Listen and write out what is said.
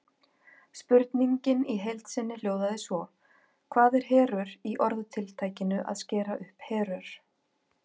Spurningin í heild sinni hljóðaði svo: Hvað er herör í orðatiltækinu að skera upp herör?